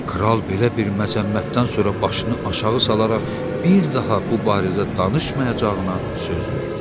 Kral belə bir məzəmmətdən sonra başını aşağı salaraq bir daha bu barədə danışmayacağına söz verdi.